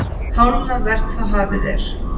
Hálfnað verk þá hafið er.